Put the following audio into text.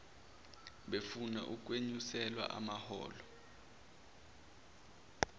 befuna ukwenyuselwa amaholo